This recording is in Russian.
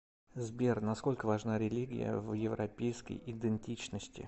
сбер насколько важна религия в европейской идентичности